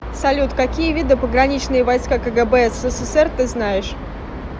салют какие виды пограничные войска кгб ссср ты знаешь